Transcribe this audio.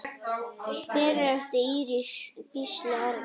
Fyrir átti Íris Gísla Arnar.